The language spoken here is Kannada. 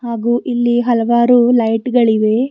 ಹಾಗು ಇಲ್ಲಿ ಹಲವಾರು ಲೈಟ್ ಗಳಿವೆ.